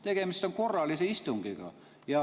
Tegemist on korralise istungiga.